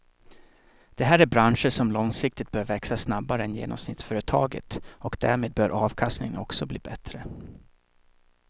Det här är branscher som långsiktigt bör växa snabbare än genomsnittsföretaget och därmed bör avkastningen också bli bättre.